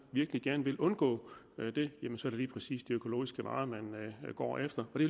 virkelig gerne vil undgå det jamen så er det lige præcis de økologiske varer de går efter og det